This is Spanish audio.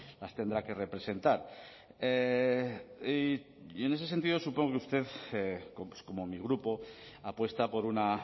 las tendrá que representar y en ese sentido supongo que usted como mi grupo apuesta por una